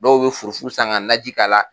Dɔw bɛ furu furu san ka nanji k'a la.